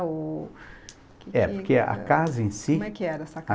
o... É, porque a casa em si... Como é que era essa casa?